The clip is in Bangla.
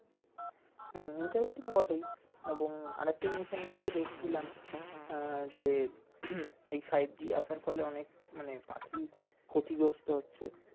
হুম interesting বটেই এবং আরেকটা জিনিস আমি আজকে দেখছিলাম আহ যে এই ফাইভ g আসার ফলে অনেক পি মানে পাখি ক্ষতি গ্রস্ত হচ্ছে